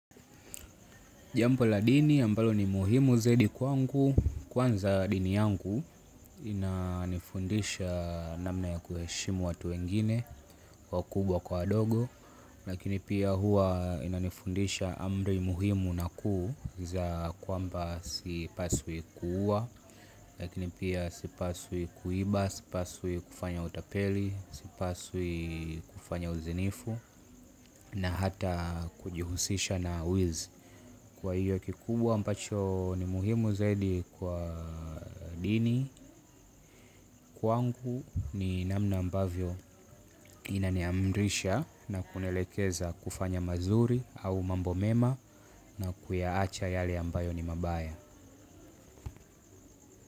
Jambo la dini ambalo ni muhimu zaidi kwangu, kwanza dini yangu inanifundisha namna ya kuheshimu watu wengine wakubwa kwa adogo. Lakini pia hua inanifundisha amri muhimu na kuu za kwamba sipaswi kuua. Lakini pia sipaswi kuiba, sipaswi kufanya utapeli, sipaswi kufanya uzinifu na hata kujihusisha na wizi. Kwa hiyo kikubwa ambacho ni muhimu zaidi kwa dini kwangu ni namna ambavyo inaniamrisha na kunielekeza kufanya mazuri au mambo mema na kuyaacha yale ambayo ni mabaya.